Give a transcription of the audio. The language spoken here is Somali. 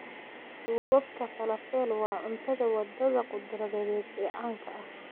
Duubabka Falafel waa cunnada waddada khudradeed ee caanka ah.